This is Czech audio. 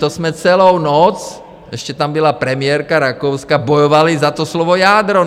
To jsme celou noc, ještě tam byla premiérka Rakouska, bojovali za to slovo jádro.